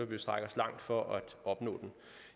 vil strække os langt for at opnå den